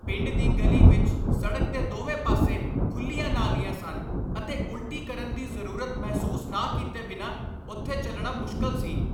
ਪਿੰਡ ਦੀ ਗਲੀ ਵਿੱਚ ਸੜਕ ਦੇ ਦੋਵੇਂ ਪਾਸੇ ਖੁੱਲ੍ਹੀਆਂ ਨਾਲੀਆਂ ਸਨ ਅਤੇ ਉਲਟੀ ਕਰਨ ਦੀ ਜ਼ਰੂਰਤ ਮਹਿਸੂਸ ਨਾ ਕੀਤੇ ਬਿਨਾਂ ਉੱਥੇ ਚੱਲਣਾ ਮੁਸ਼ਕਲ ਸੀ।